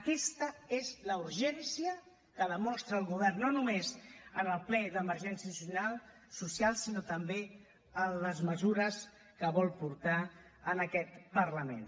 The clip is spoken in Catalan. aquesta és la urgència que demostra el govern no només en el ple d’emergència social sinó també en els mesures que vol portar en aquest parlament